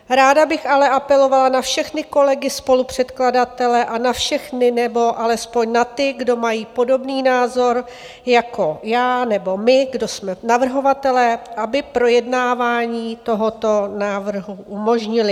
Ráda bych ale apelovala na všechny kolegy, spolupředkladatele a na všechny, nebo alespoň na ty, kdo mají podobný názor jako já, nebo my, kdo jsme navrhovatelé, aby projednávání tohoto návrhu umožnili.